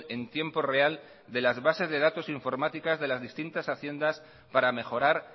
en tiempo real de las bases de datos informáticas de las distintas haciendas para mejorar